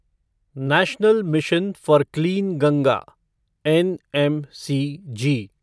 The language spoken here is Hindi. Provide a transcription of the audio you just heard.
national mission for clean Ganga NMCG